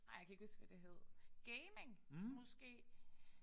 Ej jeg kan ikke huske hvad det hed. Gaming måske